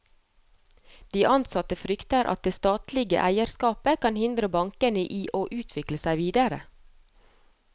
De ansatte frykter at det statlige eierskapet kan hindre bankene i å utvikle seg videre.